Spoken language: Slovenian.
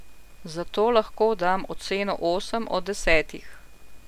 Zato lahko dam oceno osem od desetih.